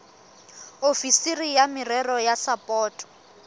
ofisiri ya merero ya sapoto